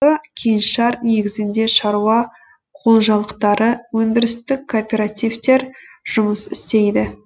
кеңшар негізінде шаруа қожалықтары өндірістік кооперативтер жұмыс істейді